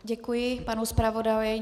Děkuji panu zpravodaji.